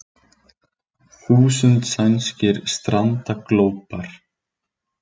Þúsund sænskir strandaglópar